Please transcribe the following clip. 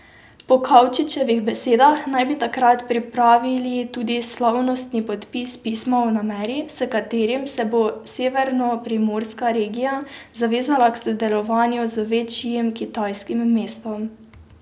Po Kavčičevih besedah naj bi takrat pripravili tudi slavnostni podpis pisma o nameri, s katerim se bo severnoprimorska regija zavezala k sodelovanju z večjim kitajskim mestom.